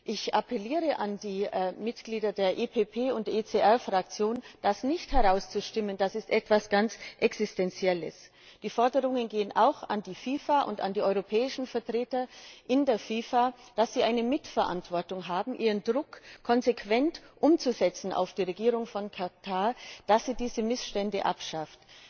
Ich appelliere an die Mitglieder der EPP und ECR Fraktion, das nicht herauszustimmen, das ist etwas ganz Existenzielles. Die Forderungen gehen auch an die FIFA und an die europäischen Vertreter in der FIFA, da sie eine Mitverantwortung haben, ihren Druck auf die Regierung konsequent umzusetzen, damit sie diese Missstände abschafft.